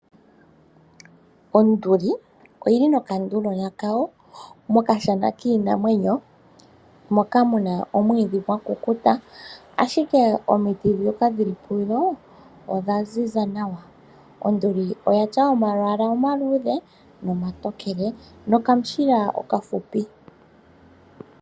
Onduli oyi li nokanduligona kayo mokashana kiinamwenyo moka mu na omwiidhi gwa kukuta, ashike omiti ndhoka dhi li pudho odha ziza nawa. Onduli oya tya omalwaala omandjimbi nogwiihenguti ya kukuta nokamushila okafupi.